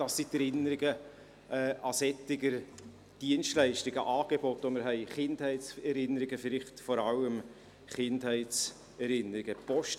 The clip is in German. Das sind Erinnerungen an solche Dienstleistungen, an Angebote, an die wir vielleicht vor allem Kindheitserinnerungen haben.